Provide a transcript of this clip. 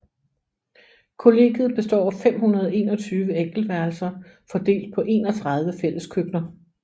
Kollegiet består af 521 enkeltværelser fordelt på 31 fælleskøkkener